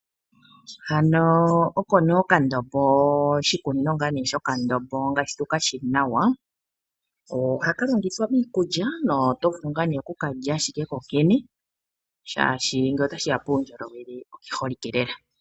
Hano oko nee okandombo oshikunino shokandombo ngashi tukashi nawa ohaka longithwa miikulya no oto vulu okukalya kokene shashi ngele takeya puundjolowele okeholike lela.